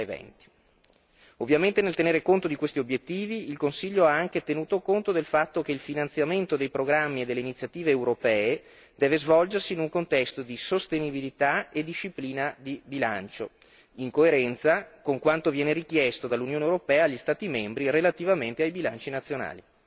2020. Ovviamente, nel tenere conto di questi obiettivi, il Consiglio ha anche tenuto conto del fatto che il finanziamento dei programmi delle iniziative europee deve svolgersi in un contesto di sostenibilità e disciplina di bilancio, in coerenza con quanto viene richiesto dall'Unione europea agli Stati membri relativamente ai bilanci nazionali.